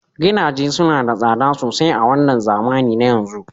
Gidaje suna da tsada sosai a wannan zamani na yanzu